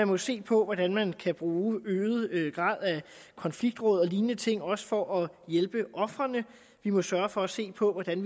må se på hvordan man kan bruge konfliktråd og lignende ting også for at hjælpe ofrene vi må sørge for at se på hvordan